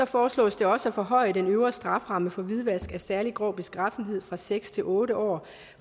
foreslås også at forhøje den øvre strafferamme for hvidvask af særlig grov beskaffenhed fra seks år til otte år